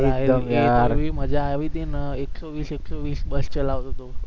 એવી મજા આવી હતી ને એક્સો વીસ એક્સો વીસ બસ ચલાવતો હતો